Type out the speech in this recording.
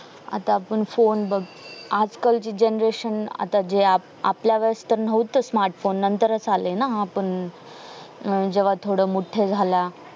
आता आपण phone बग आज काल ची generation आता जे आप आपल्या वेळेस पण नाहोतं smartphone नंतेरस आले ना आपण अं जेव्हा थोडं मोठे झाला